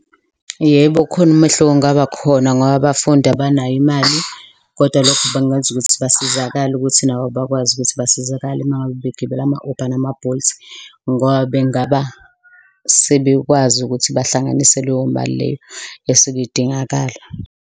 Yebo, khona umehluko ongaba khona ngoba abafundi abanayo imali kodwa lokho bengenza ukuthi basizakale ukuthi nabo bakwazi ukuthi basizakale ma ngabe begibela ama-Uber nama-Bolt ngoba bengaba sebekwazi ukuthi bahlanganise leyo mali leyo esuke idingakala.